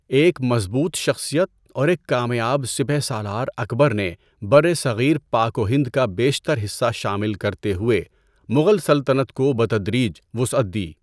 ایک مضبوط شخصیت اور ایک کامیاب سپہ سالار اکبر نے برصغیر پاک و ہند کا بیشتر حصہ شامل کرتے ہوئے مغل سلطنت کو بتدریج وسعت دی۔